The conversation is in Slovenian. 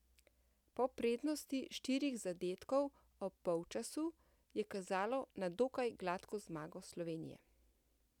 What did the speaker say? Po prednosti štirih zadetkov ob polčasu je kazalo na dokaj gladko zmago Slovenije.